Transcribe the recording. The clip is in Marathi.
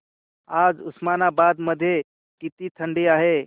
आज उस्मानाबाद मध्ये किती थंडी आहे